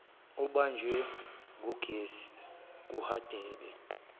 obanjwe ngugesi kuhadebe